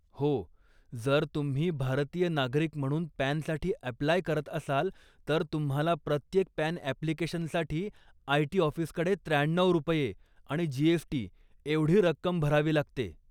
हो, जर तुम्ही भारतीय नागरिक म्हणून पॅनसाठी अॅप्लाय करत असाल, तर तुम्हाला प्रत्येक पॅन अॅप्लिकेशनसाठी आय.टी. ऑफीसकडे त्र्याण्णऊ रुपये आणि जी.एस.टी एवढी रक्कम भरावी लागते.